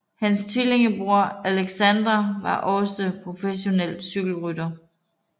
Hans tvillingbror Aleksandr var også professionel cykelrytter